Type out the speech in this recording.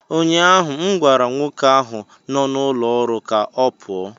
Ụnyahụ m gwara nwoke ahụ nọ n'ụlọ ọrụ m ka ọ pụọ!